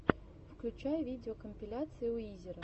включай видеокомпиляции уизера